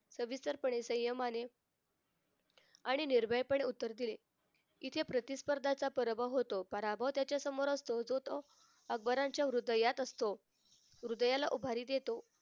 सविस्तरपणे संयमाने आणि निर्भयपणे उत्तर दिले कि ते प्रतिस्पर्धाचा पराभव होतो पराभव त्याच्या समोर असतो तो तो अकबराच्या हृदयात असतो हृदयाला उभारी देतो.